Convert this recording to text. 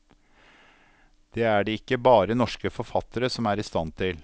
Det er det ikke bare norske forfattere som er i stand til.